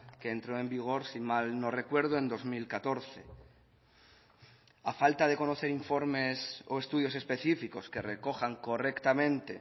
que entro en vigor si mal no recuerdo en dos mil catorce a falta de conocer informes o estudios específicos que recojan correctamente